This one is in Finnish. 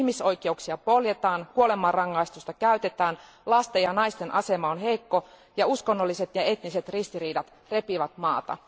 Ihmisoikeuksia poljetaan, kuolemanrangaistusta käytetään, lasten ja naisten asema on heikko ja uskonnolliset ja etniset ristiriidat repivät maata.